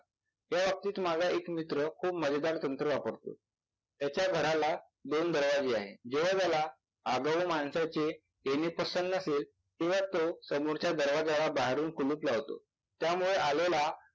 ह्याबाबतीत माझा एक मित्र खूप मजेदार तंत्र वापरतो. त्याच्या घराला दोन दरवाजे आहेत. ज्यावेळेला आगाऊ माणसाचे येणे पसंद नसेल तेव्हा तो समोरच्या दरवाजाला बाहेरून कुलूप लावतो. त्यामुळे आलेला